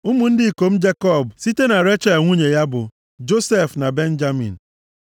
Ụmụ ndị ikom Jekọb site na Rechel nwunye ya bụ, Josef na Benjamin.